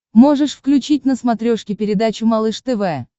можешь включить на смотрешке передачу малыш тв